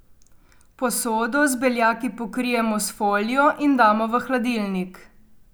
Posodo z beljaki pokrijemo s folijo in damo v hladilnik.